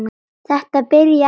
Þetta byrjaði ekki vel.